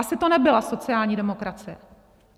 Asi to nebyla sociální demokracie.